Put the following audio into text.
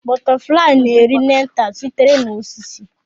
Butterflies na-eri nectar sitere na osisi.